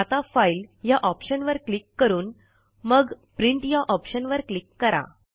आता फाइल ह्या ऑप्शनवर क्लिक करून मग प्रिंट ह्या ऑप्शन वर क्लिक करा